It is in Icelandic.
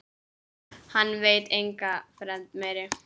Hann veit enga fremd meiri.